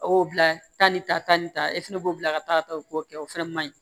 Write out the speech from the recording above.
A y'o bila taa ni taa ni ta e fɛnɛ b'o bila ka taa ka taa o kɛ o fana man ɲi